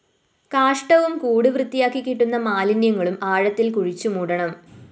കാഷ്ഠവും കൂട് വൃത്തിയാക്കി കിട്ടുന്ന മാലിന്യങ്ങളും ആഴത്തില്‍ കുഴിച്ചുമൂടണം